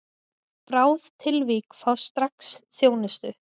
Bráð tilvik fá strax þjónustu